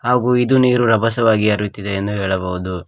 ಹಾಗು ಇದು ನೀರು ರಭಸವಾಗಿ ಹರಿಯುತ್ತಿದೆ ಎಂದು ಹೇಳಬಹುದು.